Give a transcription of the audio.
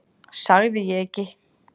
Sagði ég ekki?